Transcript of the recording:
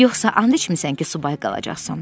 Yoxsa and içmisən ki, subay qalacaqsan?